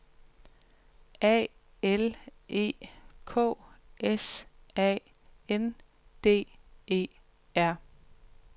A L E K S A N D E R